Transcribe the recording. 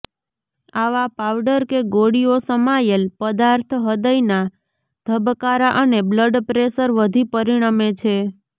આવા પાવડર કે ગોળીઓ સમાયેલ પદાર્થ હૃદયના ધબકારા અને બ્લડ પ્રેશર વધી પરિણમે છે